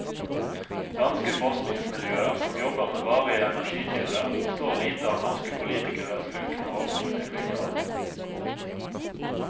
Danske forskningsmiljøer som jobber med varige energikilder forstår lite av norske politikeres lunkne holdning til vindkraft.